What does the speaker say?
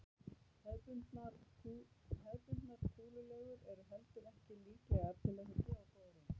Hefðbundnar kúlulegur eru heldur ekki líklegar til þess að gefa góða raun.